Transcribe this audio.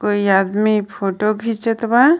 औ इ आदमी फोटो घीचत बा।